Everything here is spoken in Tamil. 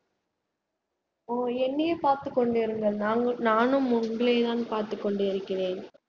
ஓ என்னயே பார்த்து கொண்டிருங்கள் நானும் உங்களை தான் பார்த்து கொண்டிருக்கிறேன்